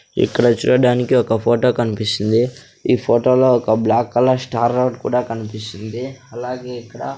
ఇక్కడ చూడడానికి ఒక ఫోటో కన్పిస్తుంది ఈ ఫోటోలో ఒక బ్లాక్ కలర్ స్టార్ రోడ్ కూడా కన్పిస్తుంది అలాగే ఇక్కడ--